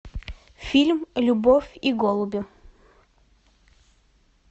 фильм любовь и голуби